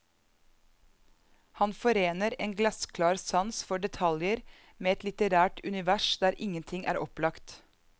Han forener en glassklar sans for detajer med et litterært univers der ingenting er opplagt.